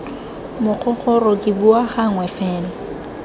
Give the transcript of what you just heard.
mogogoro ke bua gangwe fela